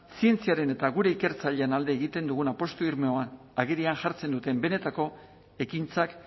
zientziaren eta gure ikertzaileen alde egiten dugun apustu irmoa agerian jartzen duten benetako ekintzak